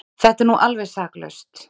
Þetta er nú alveg saklaust!